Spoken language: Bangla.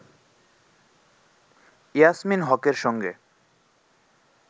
ইয়াসমীন হকের সঙ্গে